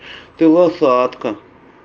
ты лошадка